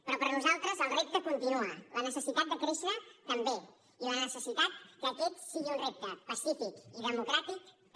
però per nosaltres el repte continua la necessitat de créixer també i la necessitat que aquest sigui un repte pacífic i democràtic també